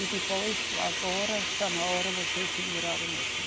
E depois, agora, está na hora vocês se virarem mesmo.